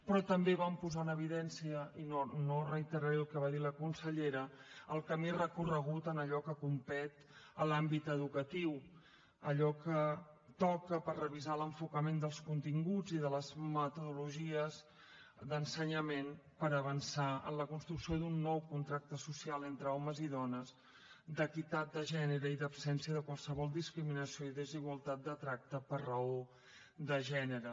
però també vam posar en evidència i no reiteraré el que va dir la consellera el camí recorregut en allò que competeix a l’àmbit educatiu allò que toca per revisar l’enfocament dels continguts i de les metodologies d’ensenyament per avançar en la construcció d’un nou contracte social entre homes i dones d’equitat de gènere i d’absència de qualsevol discriminació i desigualtat de tracte per raó de gènere